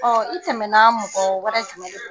Ɔ i tɛmɛnan mɔgɔ wɛrɛ jumɛn de